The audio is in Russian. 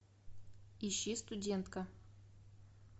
ищи студентка